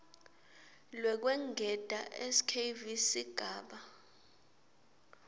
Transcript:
lwekwengeta skv sigaba